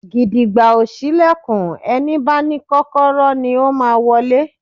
Gìdìgbà ò ṣílẹ̀kùn, ẹni bá ní Kọ́kọ́rọ́ ni ó máa wọlé